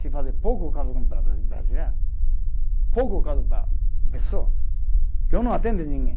Se fazer pouco caso com para brasileiro, pouco caso para pessoa, eu não atendo ninguém.